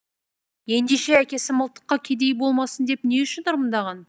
ендеше әкесі мылтыққа кедей болмасын деп не үшін ырымдаған